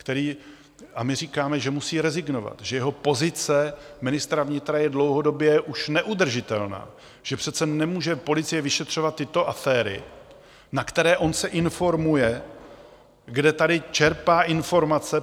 A my říkáme, že musí rezignovat, že jeho pozice ministra vnitra je dlouhodobě už neudržitelná, že přece nemůže policie vyšetřovat tyto aféry, na které on se informuje - kde tady čerpá informace?